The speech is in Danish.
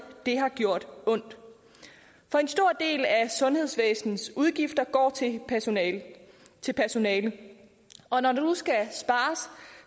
har gjort ondt for en stor del af sundhedsvæsenets udgifter går til personale til personale og når der nu skal spares